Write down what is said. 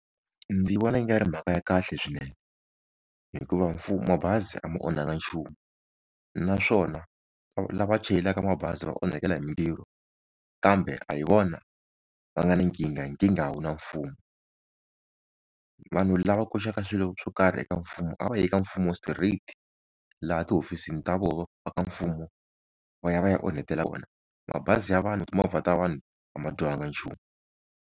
Ndzi vona yi nga ri mhaka ya kahle swinene hikuva mfumo, mabazi a ma onhaka nchumu naswona la va chayelaka mabazi va onhakela hi mintirho kambe a hi vona va nga ni nkingha nkingha yi na mfumo vanhu lava koxaka swilo swo karhi eka mfumo a va yi eka mfumo straight laha tihofisi ta voho va ka mfumo va ya va ya onhetela kona mabazi ya vanhu timovha ta vanhu a ma dyohanga nchumu.